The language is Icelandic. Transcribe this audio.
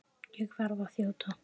Ég verð að þjóta!